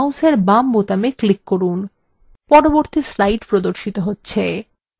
এখন mouseএর বাম বোতামে click করুন পরবর্তী slide প্রদর্শিত হচ্ছে